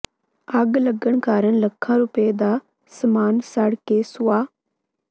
ਅੱਗ ਲੱਗਣ ਕਾਰਨ ਲੱਖਾਂ ਰੁਪਏ ਦਾ ਸਾਮਾਨ ਸੜ ਕੇ ਸੁਆਹ